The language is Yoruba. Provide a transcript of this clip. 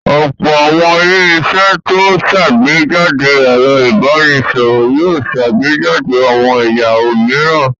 Ọ̀pọ̀ àwọn ilé-iṣẹ́ tó ń ṣàgbéjáde ẹ̀rọ ìbanisọ̀rọ̀ yóò ṣàgbéjáde àwọn ẹ̀ya òmíràn.